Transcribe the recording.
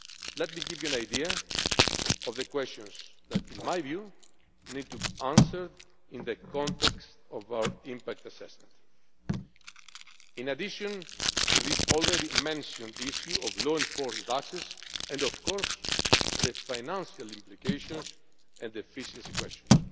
Let me give you an idea of the questions which, in my view, need to be answered in the context of our impact assessment, in addition to the already mentioned issue of law enforcement access and, of course, the financial implications and efficiency questions.